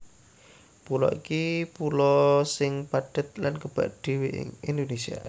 Pulo iki pulo sing padhet lan kebak dhéwé ing Indonésia